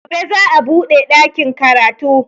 Gobe za a buɗe ɗakin karatu